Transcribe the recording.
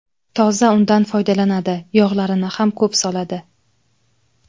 Toza undan foydalanadi, yog‘larini ham ko‘p soladi.